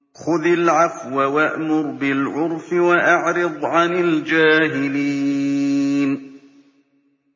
خُذِ الْعَفْوَ وَأْمُرْ بِالْعُرْفِ وَأَعْرِضْ عَنِ الْجَاهِلِينَ